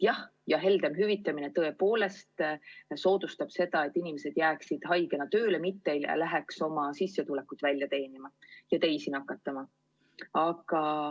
Jah, ja heldem hüvitamine tõepoolest soodustaks seda, et inimesed jääksid haigena koju, mitte ei läheks oma palka välja teenima ja teisi nakatama.